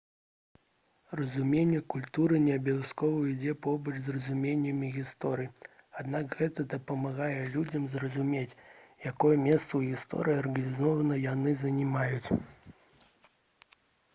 разуменне культуры не абавязкова ідзе побач з разуменнем гісторыі аднак гэта дапамагае людзям зразумець якое месца ў гісторыі арганізацыі яны займаюць